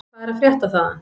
Hvað er að frétta þaðan?